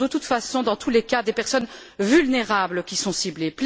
Ce sont de toute façon dans tous les cas des personnes vulnérables qui sont ciblées.